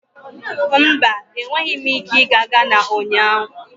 Mba, enweghị m ike ịga Ghana ụnyahụ.